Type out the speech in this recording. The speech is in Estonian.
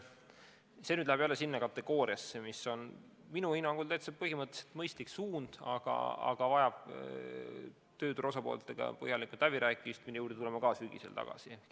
See teema läheb jälle sinna kategooriasse, mis minu hinnangul on põhimõtteliselt mõistlik suund, aga vajab tööturu osapooltega põhjalikku läbirääkimist, mille juurde tuleme samuti sügisel tagasi.